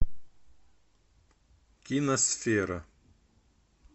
киносфера